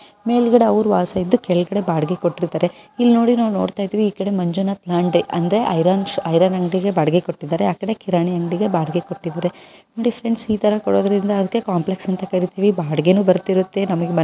ಮೇಲ್ಗಡೆ ಅವರ ವಾಸಿ ಇದ್ದು ಕೆಳಗಡೆ ಬಾಡ್ಗೆ ಕೊಟ್ಟಿದ್ದಾರೆ ಇಲ್ಲ ನೋಡಿ ಐರನ್ ಅವರಿಗೆ ಬಾಡ್ಗೆ ಕೊಟ್ಟಿದ್ದಾರೆ ಇಲ್ಲ ನೋಡಿ ಫ್ರೆಂಡ್ಸ್ ಇದನ್ನ ಕಾಂಪ್ಲೆಕ್ಸ್ ಅಂತಿವಿ ನನಗೆ ಬಾಡ್ಗೆ ಇರುತ್ತೆ --